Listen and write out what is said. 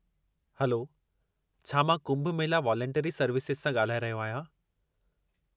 Hello, छा मां Kumbh Mela voluntary services सां ॻाल्हाए रहियो आहियां?